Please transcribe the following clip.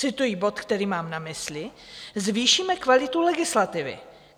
Cituji bod, který mám na mysli: "Zvýšíme kvalitu legislativy.